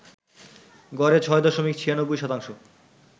গড়ে ৬ দশমিক ৯৬ শতাংশ